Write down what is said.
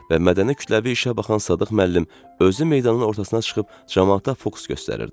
Və mədəni kütləvi işə baxan Sadıq müəllim özü meydanın ortasına çıxıb camaata fokus göstərirdi.